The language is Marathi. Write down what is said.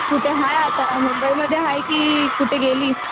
कुठे हाय आता? मुंबई मध्ये आहे की कुठे गेली?